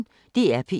DR P1